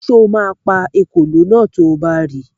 Sọ ma pa ekòló náà to bá ri?